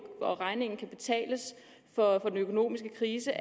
og regningen kan betales for den økonomiske krise